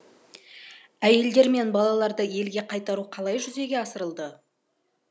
әйелдер мен балаларды елге қайтару қалай жүзеге асырылды